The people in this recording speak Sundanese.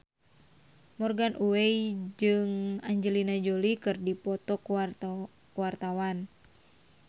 Morgan Oey jeung Angelina Jolie keur dipoto ku wartawan